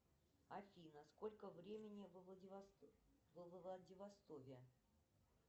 афина сколько времени во владивостоке